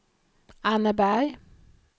Anneberg